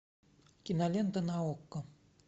кинолента на окко